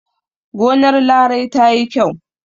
Gonar Larai ta yi kyau.